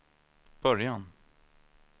början